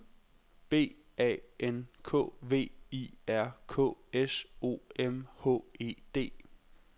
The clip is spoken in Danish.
B A N K V I R K S O M H E D